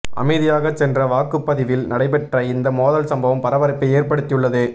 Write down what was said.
அமைதியாக சென்ற வாக்குப்பதிவில் நடைபெற்ற இந்த மோதல் சம்பவம் பரபரப்பை ஏற்படுத்தி உள்ளது